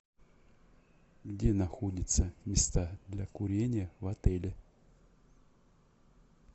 где находятся места для курения в отеле